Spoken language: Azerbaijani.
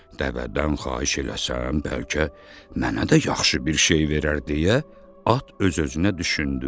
Dəvədən xahiş eləsəm, bəlkə mənə də yaxşı bir şey verər deyə at öz-özünə düşündü.